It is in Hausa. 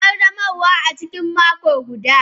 Ƙaddamarwa a cikin mako guda.